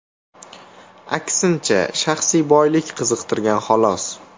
Aksincha, shaxsiy boylik qiziqtirgan, xolos.